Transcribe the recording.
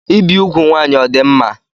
Ibi úgwù nwanyị ọ dị mma?